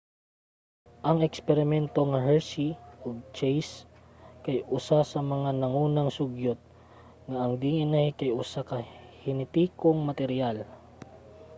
ang eksperimento nga hershey ug chase kay usa ka mga nangunang sugyot nga ang dna kay usa ka henetikong materyal